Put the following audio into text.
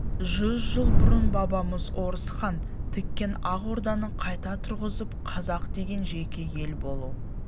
жүз жыл бұрын бабамыз орысхан тіккен ақ орданы қайта тұрғызып қазақ деген жеке ел болу